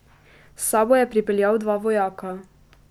S sabo je pripeljal dva vojaka.